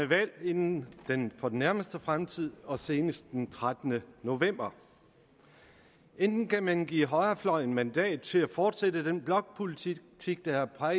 valg inden for den nærmeste fremtid og senest den trettende november enten kan man give højrefløjen mandat til at fortsætte den blokpolitik der har